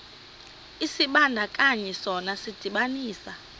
isibandakanyi sona sidibanisa